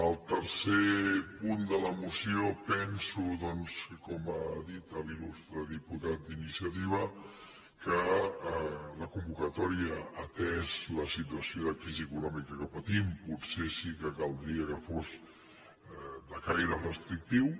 el tercer punt de la moció penso doncs com ha dit l’il·lustre diputat d’iniciativa que la convocatòria atesa la situació de crisi econòmica que patim potser sí que caldria que fos de caire restrictiu